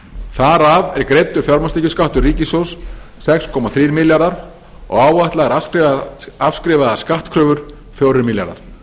þar af er greiddur fjármagnstekjuskattur ríkissjóðs sex komma þrír milljarðar og áætlaðar afskrifaðar skattkröfur fjórir milljarðar